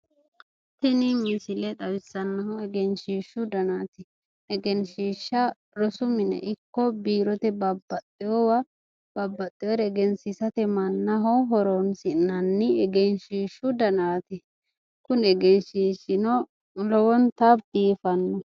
tini misile xawissanohu egenshiishu danaati egenshiisha rosu mine ikko biirote babbaxewa babbaxeere egensiisate mannaho horonsi'nanni egenshiishshu danaati kuni egenshiishshino lowonta biifannoho.